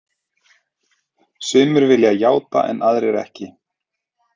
Sumir vilja játa en aðrir ekki.